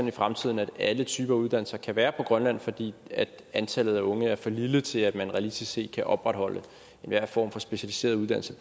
i fremtiden at alle typer uddannelser kan være i grønland fordi antallet af unge er for lille til at man realistisk set kan opretholde enhver form for specialiseret uddannelse